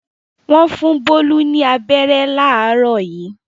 Wọ́n fún Bólú ní abẹ́rẹ́ láàárọ̀ yìí.